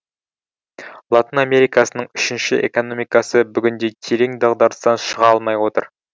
латын америкасының үшінші экономикасы бүгінде терең дағдарыстан шыға алмай отыр